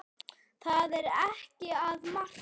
Það er ekkert að marka.